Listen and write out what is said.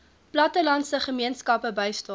plattelandse gemeenskappe bystaan